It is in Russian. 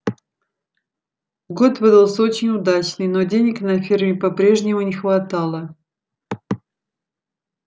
год выдался очень удачный но денег на ферме по-прежнему не хватало